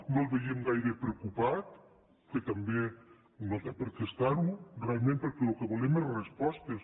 no el veiem gaire preocupat que també no té per què estar ho realment perquè el que volem són respostes